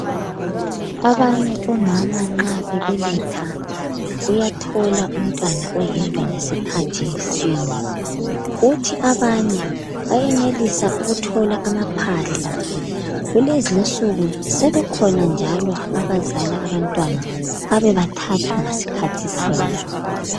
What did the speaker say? Abanye omama nxa bebeletha uyathola umntwana oyedwa ngesikhathi sinye. Kuthi abanye bayenelisa ukuthola amaphahla. Kulezi insuku sebekhona njalo abazali abantwana bebe bathathu ngasikhathi sinye.